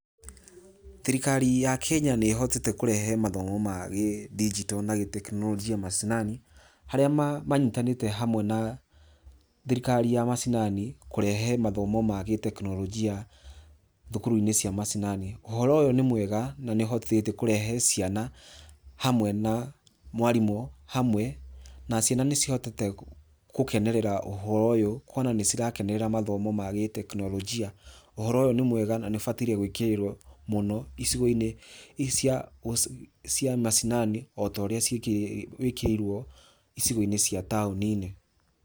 Thirikari ya Kenya nĩ ĩhotete kũrehe mathomo ma gĩdinjito na gĩtekinoronjia macinani, harĩa manyitanĩte hamwe na thirikari ya macinani, kũrehe mathomo ma gĩtekinoronjia thukuru-inĩ cia macinani. Ũhoro ũyũ nĩ mwega na nĩ ũhotithĩtie kũrehe ciana hamwe na mwarimũ hamwe na ciana nĩ cihotete gũkenerera ũhoro ũyũ kuona nĩ cirakenerera mathomo ma gĩtekinoronjia. Ũhoro ũyũ nĩ mwega na nĩ ũbataire gwĩkĩrĩrwo mũno icigo-inĩ cia macinani, o ta ũrĩa wĩkĩrĩirwo icigo-inĩ cia taũni-inĩ.